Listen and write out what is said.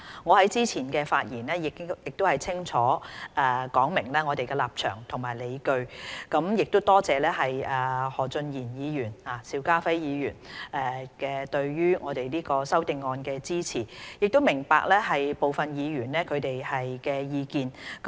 我在之前的發言中已清楚說明我們的立場及理據，並多謝何俊賢議員和邵家輝議員對《修訂規例》的支持，亦明白部分議員的意見。